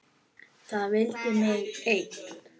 Það vildi mig enginn!